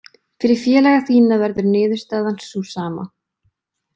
Fyrir félaga þína verður niðurstaðan sú sama.